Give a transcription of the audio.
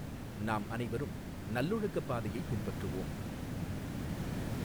நாம் அனைவரும் நல்லொழுக்கப் பாதையைப் பின்பற்றுவோம்.